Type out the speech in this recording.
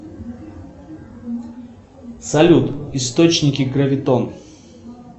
салют источники гравитон